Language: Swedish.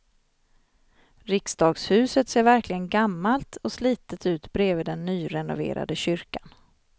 Riksdagshuset ser verkligen gammalt och slitet ut bredvid den nyrenoverade kyrkan.